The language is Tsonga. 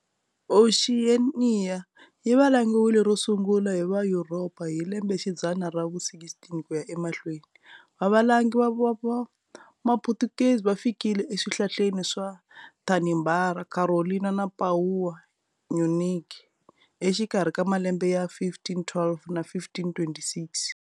Oxiyeniya yivalangiwile ro sungula hi vayuropa hi lembexidzana ravu 16 kuya emahlweni. Vavalangi va maphutukezi va fikile e swihlaleni swa Tanimbari, Carolina na Papuwa Nyugini, exikarhi ka malembe ya 1512 na 1526.